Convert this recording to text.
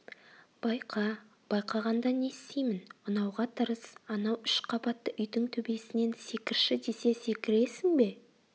байқа байқағанда не істеймін ұнауға тырыс анау үш қабатты үйдің төбесінен секірші десе секіресің бе